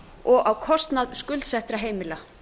og á kostnað skuldsettra heimila